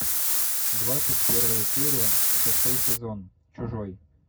двадцать первая серия шестой сезон чужой